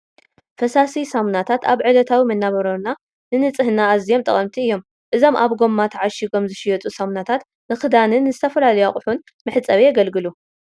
ፈሳሲ ሳሙናታት ኣብ ዕለታዊ መነባብሮና ንንፅህና ኣዝዮም ጠቐምቲ እዮም፡፡ ኣዞም ኣብ ጐማ ተዓሽጐም ዝሽየጡ ሳሙናታት ንክዳንን ንዝተፈላለዩ ኣቑሑን መሕፀቢ የገልግሉ፡፡